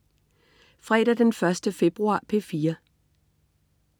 Fredag den 1. februar - P4: